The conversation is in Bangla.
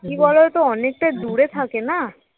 কি বলতো? অনেকটা দূরে থাকে না